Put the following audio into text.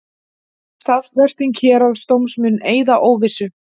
Staðfesting héraðsdóms mun eyða óvissu